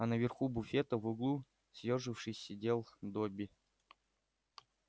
а на верху буфета в углу съёжившись сидел добби